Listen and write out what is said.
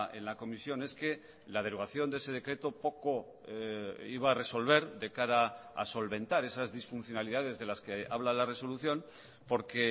en la comisión es que la derogaciónde ese decreto poco iba a resolver de cara a solventar esas disfuncionalidades de las que habla la resolución porque